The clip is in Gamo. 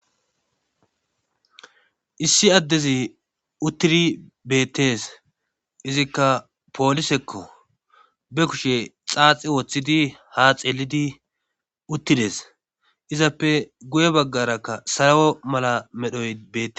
Issi addezi uttidi beettes izikka poolisekko be kushe xaaxi woththidi ha xeelidi uttides izappe guye baggarakka sarawo mala medhoy bee.